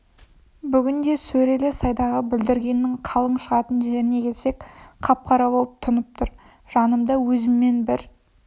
бүгін де сөрелі сайдағы бүлдіргеннің қалың шығатын жеріне келсек қап-қара боп тұнып тұр жанымда өзіммен бір